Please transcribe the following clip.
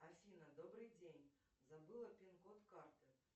афина добрый день забыла пин код карты